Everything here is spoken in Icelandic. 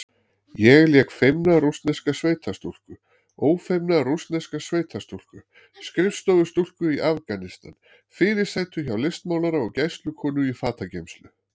Ég lék feimna rússneska sveitastúlku, ófeimna rússneska sveitastúlku, skrifstofustúlku í Afganistan, fyrirsætu hjá listmálara og gæslukonu í fatageymslu.